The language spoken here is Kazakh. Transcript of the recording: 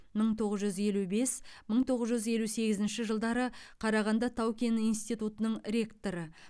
мың тоғыз жүз елу бес мың тоғыз жүзелу сегізінші жылдары қарағанды тау кен институтының ректоры